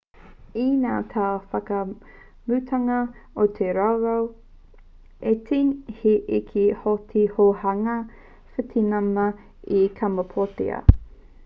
i ngā tau whakamutunga o te rautau 18 i eke hoki te hunga witināma i kamapōtia